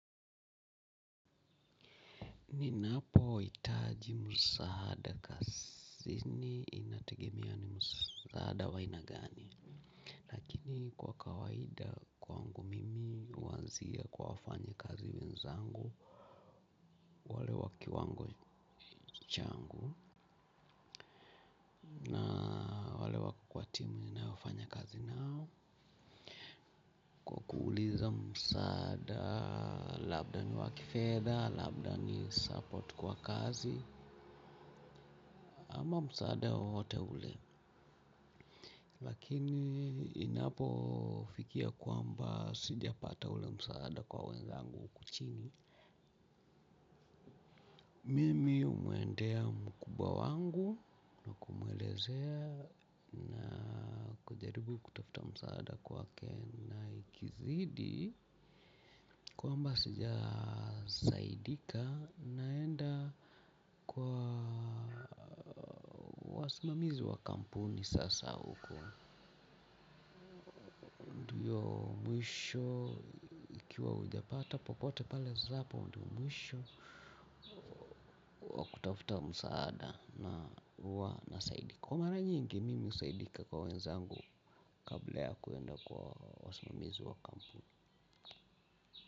Ninapo hitaji msaada kazini inategemea ni msaada wa aina gani. Kini kwa kawaida kwangu mimi huanzia kwa wafanya kazi wenzangu. Wale wa kiwango changu. Na wale wako kwa timu ninayofanya kazi nao kwa kuuliza msaada labda ni wa kifedha, labda ni support kwa kazi. Ama msaada wowote ule lakini inapo fikia kwamba sijapata ule msaada kwa wezangu huku chini. Mimi humwendea mkubwa wangu mwelezea nakujaribu kutafuta msaada kwake na ikizidi kwamba sija saidika naenda kwa wasimamizi wa kampuni sasa huko. Hiyo mwisho ikiwa hujapata popote pale zapo muda mwisho kutafuta msaada na huwa nasaidika. Kwa mara nyingi mimi husaidika kwa wenzangu kabla ya kuenda kwa wasimamizi wa kampuni.